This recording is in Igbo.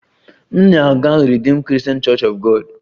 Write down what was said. M na-aga Redeemed Christian Church of God